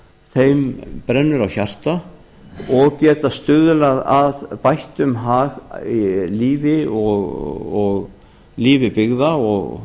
þeim brennur á hjarta og geta stuðlað að bættum hag byggða